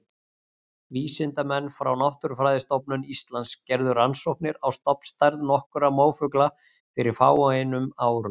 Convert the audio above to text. vísindamenn frá náttúrufræðistofnun íslands gerðu rannsóknir á stofnstærð nokkurra mófugla fyrir fáeinum árum